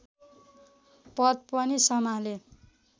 पद पनि सम्हाले